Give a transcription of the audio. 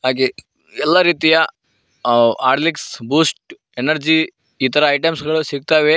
ಎಲ್ಲ ರೀತಿಯ Horlicks Boost energy ಇತರ ಐಟಮ್ಸ್ ಗಳು ಸಿಗ್ತವೆ.